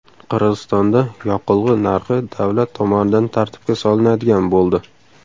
Qirg‘izistonda yoqilg‘i narxi davlat tomonidan tartibga solinadigan bo‘ldi.